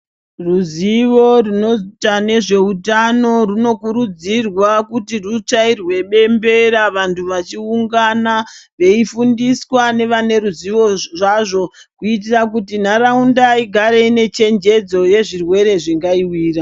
Ruzivo rwunoita ne zveutano rwuno kurudzirwa kuti rwuchairwe bembera vantu vachi ungana vei fundiswa ne ruzivo zvazvo kuitira kuti nharaunda igare ine chenjedzo ye zvirwere zvingai wira.